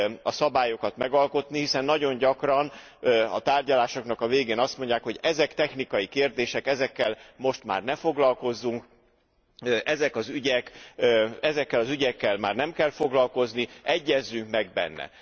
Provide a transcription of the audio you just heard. a szabályokat megalkotni, hiszen nagyon gyakran a tárgyalásoknak a végén azt mondják, hogy ezek technikai kérdések, ezekkel most már ne foglalkozzunk, ezekkel az ügyekkel már nem kell foglalkozni, egyezzünk meg benne.